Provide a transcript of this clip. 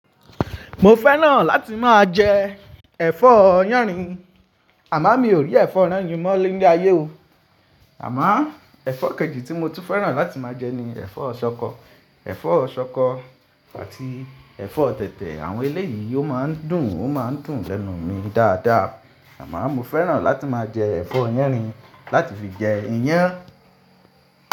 Mo fẹ́ràn láti máa jẹ ẹ̀fọ́ yánrin, àmá mi ò rí ẹ̀fọ́ yánrin mọ́ ni le ayé o. Àmá ẹ̀fọ́ kejì tí mo tún fẹ́ràn láti máa jẹ ni ẹ̀fọ́ ṣọkọ. Ẹ̀fọ́ ṣọkọ àti ẹ̀fọ́ tẹ̀tẹ̀, àwọn ilé yìí ó máa ń dùn ó máa ń dùn lẹ́nu mi dáadáa. Àmáo mo fẹ́ràn láti máa jẹ ẹ̀fọ́ yánrin láti fi jẹ iyán.